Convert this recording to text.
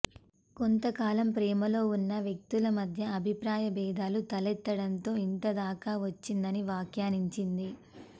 కొంత కాలం ప్రేమలో ఉన్న వ్యక్తుల మధ్య అభిప్రాభేదాలు తలెత్తడంతో ఇంతదాకా వచ్చిందని వ్యాఖ్యానించింది